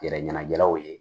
Gɛrɛ ɲɛnajɛlaw ye